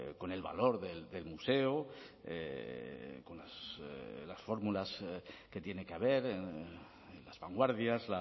con el valor del museo con las fórmulas que tiene que haber las vanguardias